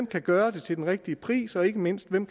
kan gøre det til den rigtige pris og ikke mindst hvem